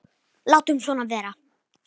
Látum svona vera.